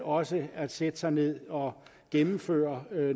også at sætte sig ned og gennemføre